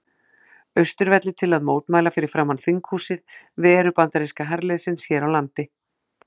Austurvelli til að mótmæla fyrir framan þinghúsið veru bandaríska herliðsins hér á landi.